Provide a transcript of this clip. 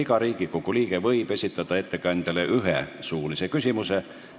Iga Riigikogu liige võib esitada ettekandjale ühe suulise küsimuse.